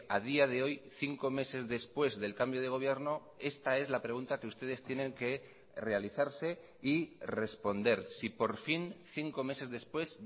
a día de hoy cinco meses después del cambio de gobierno esta es la pregunta que ustedes tienen que realizarse y responder si por fin cinco meses después